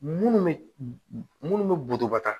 Munnu be munnu be butubɔ ta